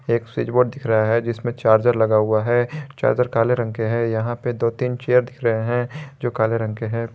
एक switch board दिख रहा है जिसमें चार्जर लगा हुआ है चार्जर काले रंग के हैं यहां पर दो तीन चेयर दिख रहे हैं जो काले रंग के हैं।